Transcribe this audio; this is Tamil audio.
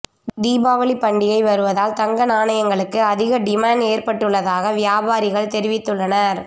தீபாவளி பண்டிகை வருவதால் தங்க நாணயங்களுக்கு அதிக டிமாண்ட் ஏற்பட்டுள்ளதாக வியாபாரிகள் தெரிவித்துள்ளனர்